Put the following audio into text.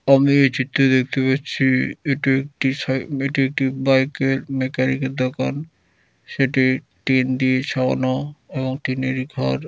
আমি এই চিত্রে দেখতে পাচ্ছি এটি একটি সাই--এটি একটি বাইকের মেকানিকের দোকান | সেটি টিন দিয়ে ছাওয়ানোএবং টিনেরই ঘর।